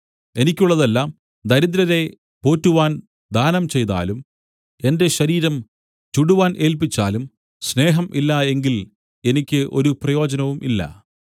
എനിക്കുള്ളതെല്ലാം ദരിദ്രരെ പോറ്റുവാൻ ദാനം ചെയ്താലും എന്റെ ശരീരം ചുടുവാൻ ഏല്പിച്ചാലും സ്നേഹം ഇല്ല എങ്കിൽ എനിക്ക് ഒരു പ്രയോജനവും ഇല്ല